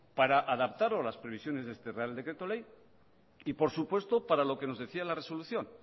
para adaptarlo a las previsiones de este real decreto ley y por supuesto para lo que nos decía la resolución